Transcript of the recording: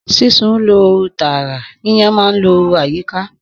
Sísun ń lo ooru tààrà; yíyan máa ń lo ooru àyíká.